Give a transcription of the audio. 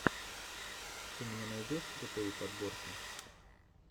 ты мне найдешь крутые подборки